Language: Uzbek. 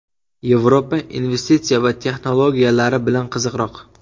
Yevropa investitsiya va texnologiyalari bilan qiziqroq.